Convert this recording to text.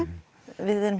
við erum